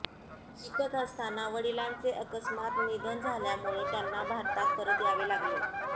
शिकत असताना वडिलांचे अकस्मात निधन झाल्यामुळे त्यांना भारतात परत यावे लागले